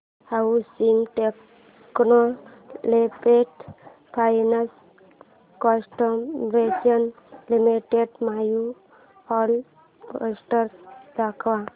housing development finance corporation limited annual report दाखव